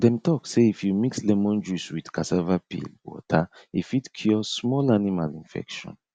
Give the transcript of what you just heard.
dem talk say if you mix lemon juice with cassava peel water e fit cure small animal infection